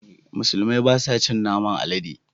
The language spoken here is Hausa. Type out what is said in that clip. Musulmai ba su cin naman alade